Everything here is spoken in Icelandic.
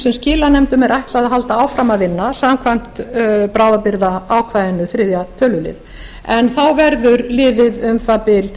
sem skilanefndum er ætlað að halda áfram að vinna samkvæmt bráðabirgðaákvæðinu þriðja tölulið en þá verður liðið um það bil